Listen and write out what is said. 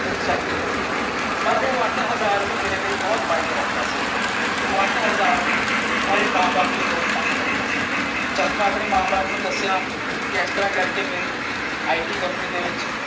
ਮੇਰੀ ਸੈਲਰੀ ਲੱਗੀ। ਪਰ ਉਹ ਅੱਠ ਹਜ਼ਾਰ ਵੀ ਮੇਰੇ ਲਈ ਬਹੁਤ ਮਾਇਨੇ ਰੱਖਦਾ ਸੀ। ਉਹ ਅੱਠ ਹਜ਼ਾਰ ਮੇਰੇ ਮਾਂ ਬਾਪ ਲਈ ਬਹੁਤ ਮਾਇਨੇ ਰੱਖਦਾ ਸੀ। ਜੱਦ ਮੈਂ ਆਪਣੇ ਮਾਂ ਬਾਪ ਨੂੰ ਦਸਿਆ ਕਿ ਇਸ ਤਰ੍ਹਾਂ ਕਰਕੇ ਮੇਰੀ ਆਈ ਟੀ ਕੰਪਨੀ ਦੇ ਵਿੱਚ।